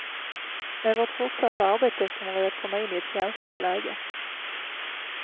Med vårt fortsatta arbete kommer vi att komma in i ett känsligt läge.